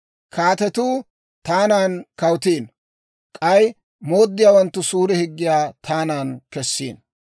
Kaatetuu taanan kawutiino; k'ay mooddiyaawanttu suure higgiyaa taanan kessiino.